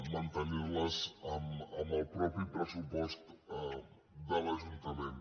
mantenir les amb el pressupost de l’ajuntament